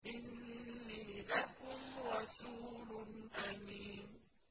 إِنِّي لَكُمْ رَسُولٌ أَمِينٌ